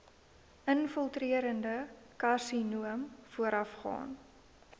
infiltrerende karsinoom voorafgaan